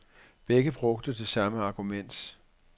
Begge brugte det samme argument.